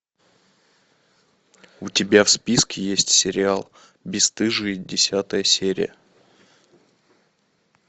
у тебя в списке есть сериал бесстыжие десятая серия